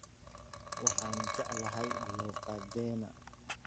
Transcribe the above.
Waxaan jeclahay luuqadeena